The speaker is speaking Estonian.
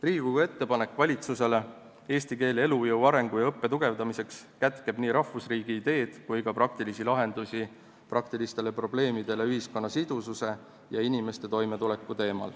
Riigikogu ettepanek valitsusele eesti keele elujõu arengu ja õppe tugevdamiseks kätkeb nii rahvusriigi ideed kui ka praktilisi lahendusi praktilistele probleemidele seoses ühiskonna sidususe ja inimeste toimetulekuga.